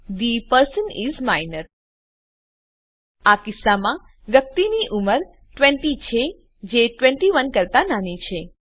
the person is minor આ કિસ્સામાં વ્યક્તિની ઉંમર ૨૦ છે જે ૨૧ કરતા નાની છે